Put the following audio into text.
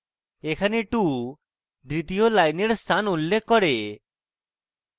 এখানে 2 দ্বিতীয় লাইনের স্থান উল্লেখ করে